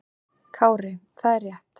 Kári: Það er rétt.